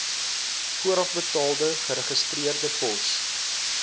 voorafbetaalde geregistreerde pos